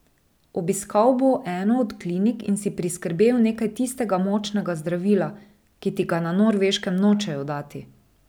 Obiskal bo eno od klinik in si priskrbel nekaj tistega močnega zdravila, ki ti ga na Norveškem nočejo dati.